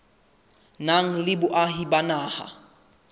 nang le boahi ba naha